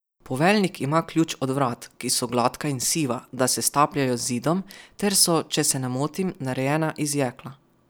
Poveljnik ima ključ od vrat, ki so gladka in siva, da se stapljajo z zidom, ter so, če se ne motim, narejena iz jekla.